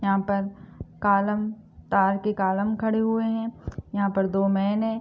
यहाँ पर कॉलम डालके कॉलम खड़े हुए हैं यहाँ पर दो मैंन हैं।